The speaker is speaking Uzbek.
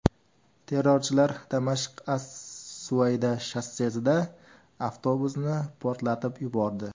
Terrorchilar Damashq–as-Suvayda shossesida avtobusni portlatib yubordi.